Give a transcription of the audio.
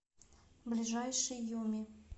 ближайший юми